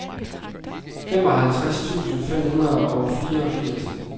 femoghalvtreds tusind fem hundrede og fireogfirs